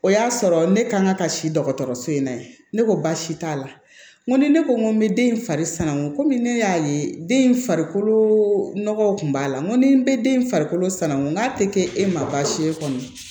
O y'a sɔrɔ ne kan ka ka si dɔgɔtɔrɔso in na yen ne ko baasi t'a la n ko ni ne ko n ko n bɛ den in farikomi ne y'a ye den in farikolo nɔgɔw kun b'a la n ko ni n be den in farikolo sanangu n'a te kɛ e ma baasi ye kɔni